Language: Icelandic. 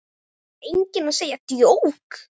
Ætlar enginn að segja djók?